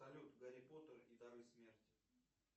салют гарри поттер и дары смерти